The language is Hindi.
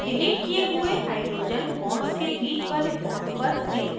फिर डिलीट किये हुए hydrogen bonds के बीच वाले bond पर click करें